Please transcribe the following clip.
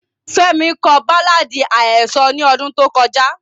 Femi ko baláàdi ahesọ ni ọdun to kọja.